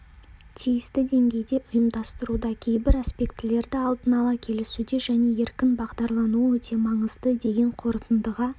тиісті деңгейде ұйымдастыруда кейбір аспектілерді алдын ала келісуде және еркін бағдарлануы өте маңызды деген қорытындыға